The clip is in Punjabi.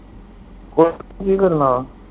ਕੁੱਛ ਨੀ ਕੀ ਕਰਨਾ?